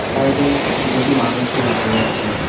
Side -এ দুটি মানুষকে দেখতে পাচ্ছি।